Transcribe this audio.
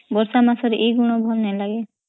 ବର୍ଷା ମାସରେ ଏଇ ଗୁଣ ଭଲ ନା ଲାଗେ